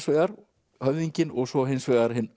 vegar höfðinginn og svo hins vegar hinn